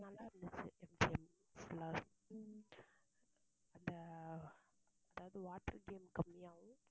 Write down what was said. நல்லா இருந்துச்சு MGMfull ஆ அந்த அதாவது water game கம்மியாவும்